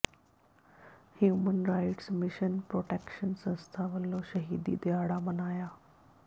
human rights mission protection ਸੰਸਥਾ ਵੱਲੋਂ ਸ਼ਹੀਦੀ ਦਿਹਾੜਾ ਮਨਾਇਆ